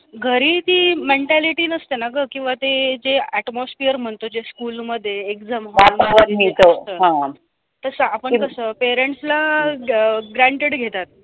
घरी ती mentality नसते ना गं किंवा ते जे atmosphere म्हणतो जे school मध्ये exam तसं आपण कसं parents ला ग granted घेतात.